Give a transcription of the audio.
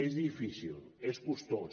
és difícil és costós